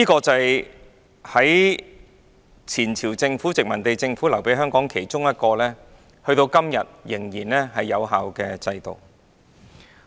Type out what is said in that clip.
這是前朝殖民地政府留給香港其中一個至今仍然有效的制度。